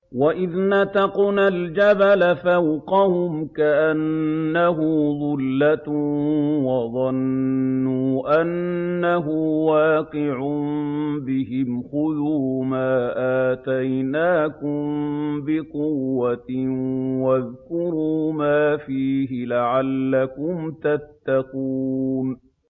۞ وَإِذْ نَتَقْنَا الْجَبَلَ فَوْقَهُمْ كَأَنَّهُ ظُلَّةٌ وَظَنُّوا أَنَّهُ وَاقِعٌ بِهِمْ خُذُوا مَا آتَيْنَاكُم بِقُوَّةٍ وَاذْكُرُوا مَا فِيهِ لَعَلَّكُمْ تَتَّقُونَ